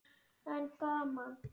En gaman!